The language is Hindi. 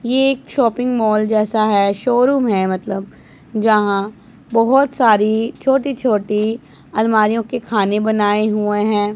ये एक शॉपिंग मॉल जैसा है शोरूम है मतलब जहां बहोत सारी छोटी छोटी अलमारी के खाने बनाए हुए हैं।